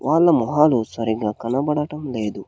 వాళ్ల మొహాలు సరిగ్గా కనబడటం లేదు.